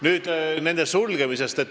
Nüüd nende osakondade sulgemisest.